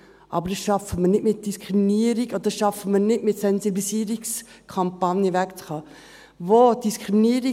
Aber das schaffen wir nicht mit Diskriminierung, oder das schaffen wir nicht mit Sensibilisierungskampagnen, davon wegzukommen.